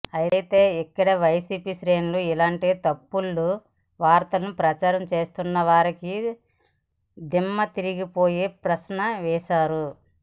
అయితే ఇక్కడే వైసీపీ శ్రేణులు ఇలాంటి తప్పుడు వార్తలను ప్రచారం చేస్తున్న వారికి దిమ్మతిరిగిపోయే ప్రశ్న వేస్తున్నారు